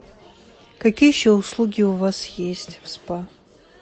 какие еще услуги у вас есть в спа